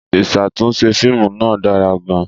Ìṣàtúnṣe fíìmù náà dára gan-an.